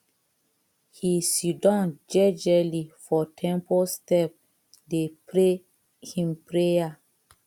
he siddon jejely for temple step dey pray him prayer